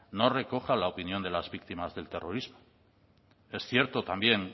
no recoja la opinión de las víctimas del terrorismo es cierto también